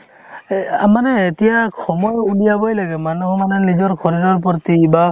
এহ্ আম মানে এতিয়া সময় উলিয়াবয়ে লাগে মানুহৰ মানে নিজৰ শৰীৰ প্ৰতি বা